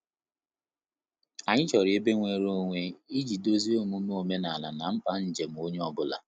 Anyị chọrọ ebe nwere onwe iji dozie omume omenala na mkpa nnjem onye ọ bụla